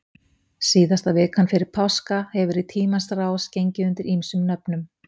Síðasta vikan fyrir páska hefur í tímans rás gengið undir ýmsum nöfnum.